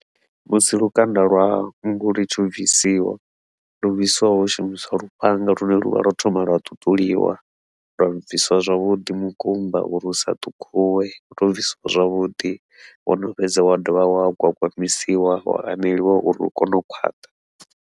Musi lukanda lwa nngu lutshi bvisiwa, lu bvisiwa hu shumiswa lufhanga lune luvha lwo thoma lwa ṱuṱuliwa lwa bvisiwa zwavhuḓi mukumba uri usa ṱhukhuwe lu tea u bvisiwa zwavhuḓi, wono fhedza wa dovha wa gwagwamisiwa wa aneliwa uri u kone u khwaṱha.